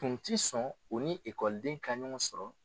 Tun tɛ sɔn u ni ekɔliden ka ɲɔgɔn sɔrɔ